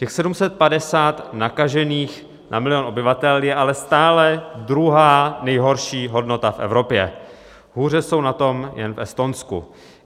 Těch 750 nakažených na milion obyvatel je ale stále druhá nejhorší hodnota v Evropě, hůře jsou na tom jen v Estonsku.